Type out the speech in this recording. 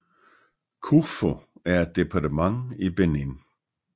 Kouffo er et departement i Benin